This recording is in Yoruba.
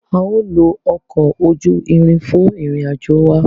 A o lo ọkọ ojú ìrin fún ìrìn-àjò wà